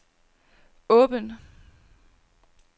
åben